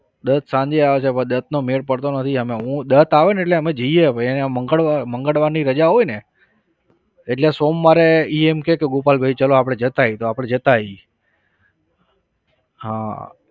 દત્ત સાંજે આવે છે પણ દત્તનો મેળ પડતો નથી એમે. હું દત્ત આવેને એટલે અમે જઈએ ભાઈ અહીંયા મંગળવાર મંગળવારની રજા હોયને એટલે સોમવારે એ એમ કે ગોપાલભાઈ ચાલો આપણે જતા આવીએ તો આપણે જતા આવીએ. હા